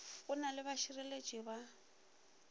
go na le bašireletši ba